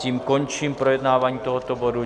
Tím končím projednávání tohoto bodu.